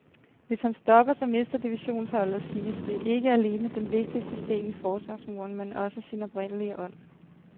Hvis han stopper, så mister divisionsholdet, siges det, ikke alene den vigtigste sten i forsvarsmuren, men også sin oprindelige ånd.